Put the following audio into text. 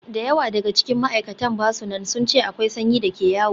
Da yawa daga cikin ma'aikatan ba su nan, sun ce akwai sanyi da ke yawo.